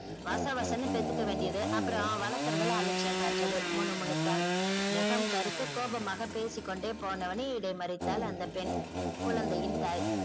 வசவசனு பெத்துக்க வேண்டியது அப்புறம் வளக்குறதுல அலட்சியம் காட்டுறது முனுமுனுத்தான் முகம் கருக்க கோபமாக பேசி கொண்டே போனவனை இடைமறித்தாள் அந்த பெண் குழந்தையின் தாய்